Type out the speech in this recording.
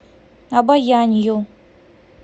обоянью